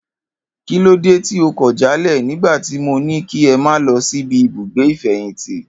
Kílóde tí ẹ kọ̀ jálẹ̀ nigba ti mo ni kí ẹ ma lọ sibi ibugbe ifẹyinti.